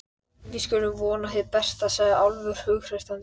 Allt leiðir þetta af afskiptasemi og atkvæðaveiðum.